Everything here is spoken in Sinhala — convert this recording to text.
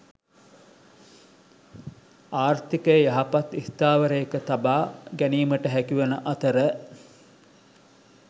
ආර්ථිකය යහපත් ස්ථාවරයක තබා ගැනීමට හැකිවන අතර